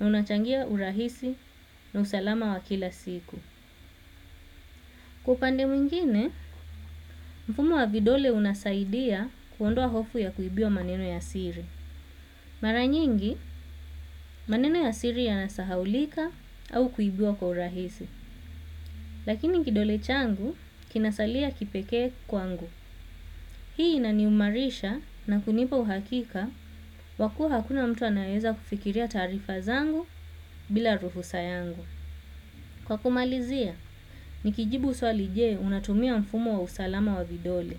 na unachangia urahisi na usalama wa kila siku. Kwa upande mwingine, mfumo wavidole unasaidia kuondoa hofu ya kuibiwa maneno ya siri. Mara nyingi, maneno ya siri ya nasahaulika au kuibiwa kwa urahisi, lakini kidole changu kinasalia kipekee kwangu. Hii inaniumarisha na kunipa uhakika wakuwa hakuna mtu anayeeza kufikiria taarifa zangu bila ruhu sayangu. Kwa kumalizia, nikijibu swalije unatumia mfumo wa usalama wa vidole.